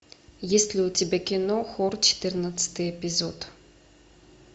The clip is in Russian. есть ли у тебя кино хор четырнадцатый эпизод